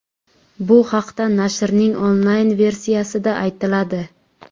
Bu haqda nashrning onlayn-versiyasida aytiladi .